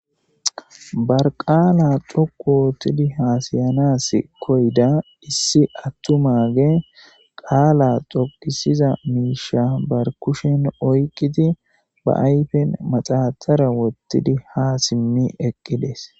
Barqala dhoqu wotidi hasayanas koyda issi atumage qaala xoqisiza miisha bar kushen oyqidi ba ayfen maxaxara wotidi ha simmi eqides.